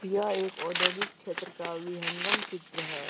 यह एक औद्योगिक क्षेत्र का वृहंगम चित्र है।